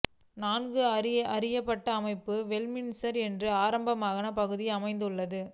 நன்கு அறியப்பட்ட அமைப்பு வெஸ்ட்மின்ஸ்டர் என்று ஆடம்பரமான பகுதியில் அமைந்துள்ளது